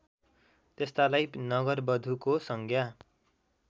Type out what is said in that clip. त्यस्तालाई नगरवधुको संज्ञा